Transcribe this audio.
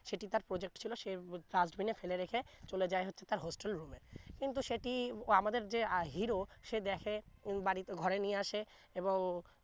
সেটি তার project ছিলো সে dustbin ফেলে রেখে চলে যায় তার hostel room এ কিন্তু সেটি আমাদের যে hero সে দেখে বাড়ি ঘরে নিয়ে আসে এবং